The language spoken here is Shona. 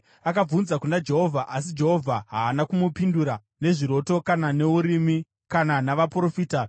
Akabvunza kuna Jehovha, asi Jehovha haana kumupindura nezviroto kana neUrimi kana navaprofita.